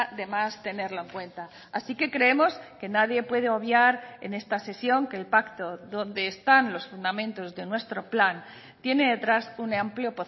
de más tenerlo en cuenta así que creemos que nadie puede obviar en esta sesión que el pacto donde están los fundamentos de nuestro plan tiene detrás un amplio